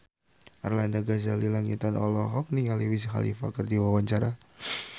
Arlanda Ghazali Langitan olohok ningali Wiz Khalifa keur diwawancara